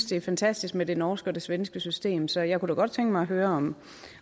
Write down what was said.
det er fantastisk med det norske og det svenske system så jeg kunne godt tænke mig at høre